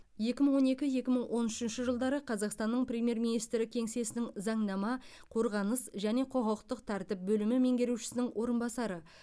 екі мың он екі екі мың он үшінші жылдары қазақстанның премьер министрі кеңсесінің заңнама қорғаныс және құқықтық тәртіп бөлімі меңгерушісінің орынбасары